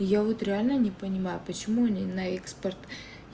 я вот реально не понимаю почему не на экспорт